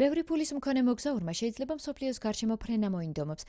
ბევრი ფულის მქონე მოგზაურმა შეიძლება მსოფლიოს გარშემო ფრენა მოინდომოს